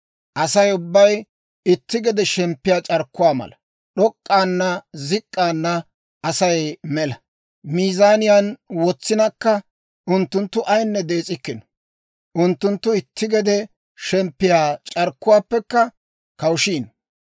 Asay ubbay itti gede shemppiyaa c'arkkuwaa mala; d'ok'k'ina zik'k'ina, Asay mela. Miizaaniyaan wotsinakka unttunttu ayinne dees'ikkino; unttunttu itti gede shemppiyaa c'arkkuwaappekka kawushiino.